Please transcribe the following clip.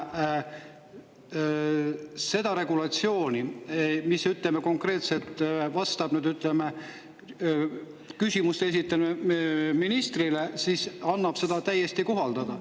Aga seda regulatsiooni, mis konkreetselt küsimusi ministrile, annab ju praegu ka täiesti kohaldada.